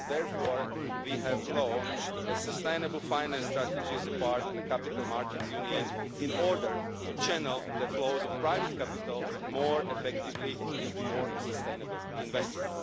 For this reason we have launched a sustainable finance strategy as a part of the capital markets union in order to channel the flows of private capital more effectively into more sustainable investment.